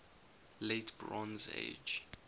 late bronze age